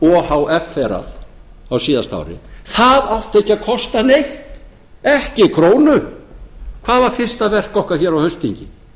ohferrrað á síðasta ári það átti ekki að kosta neitt ekki krónu hvað var fyrsta verk okkar hér á haustþingi